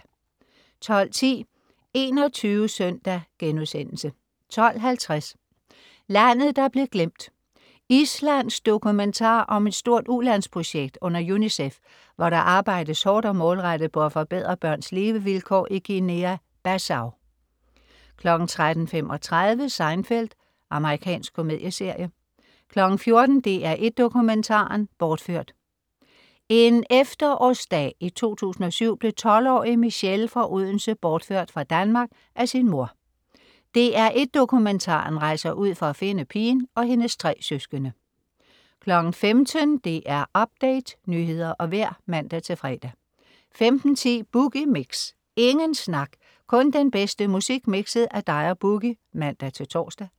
12.10 21 Søndag* 12.50 Landet der blev glemt. Islandsk dokumentar om et stort ulandsprojekt under UNICEF, hvor der arbejdes hårdt og målrettet på at forbedre børns levevilkår i Guinea-Bissau 13.35 Seinfeld. Amerikansk komedieserie 14.00 DR1 Dokumentaren: Bortført. En efterårsdag i 2007 blev 12-årige Michelle fra Odense bortført fra Danmark af sin mor. "DR1 Dokumentaren" rejser ud for at finde pigen og hendes tre søskende 15.00 DR Update. Nyheder og vejr (man-fre) 15.10 Boogie Mix. Ingen snak, kun den bedste musik mikset af dig og Boogie (man-tors)